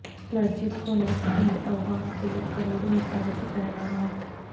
مسجدیں کھولنے سے پہلے عوام کے لیے کروڑوں حفاظتی پیغامات